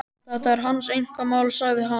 Þetta er hans einkamál, sagði hann.